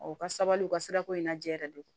u ka sabali u ka sirako in na jɛyɛrɛ de don